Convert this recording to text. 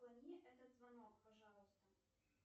отклони этот звонок пожалуйста